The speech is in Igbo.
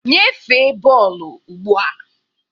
Nyefee bọọlụ ugbu a!